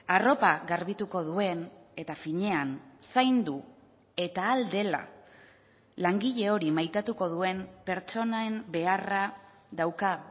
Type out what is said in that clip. arropa garbituko duen eta finean zaindu eta ahal dela langile hori maitatuko duen pertsonen beharra dauka